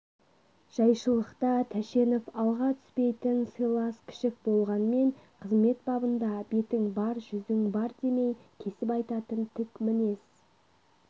жайшылықта тәшенов алға түспейтін сыйлас кішік болғанмен қызмет бабында бетің бар жүзің бар демей кесіп айтатын тік мінез